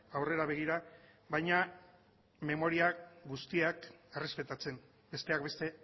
aurrera begira baina memoria guztiak errespetatzen besteak beste